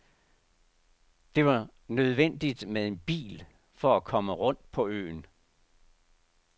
Det var nødvendigt med en bil for at komme rundt på øen.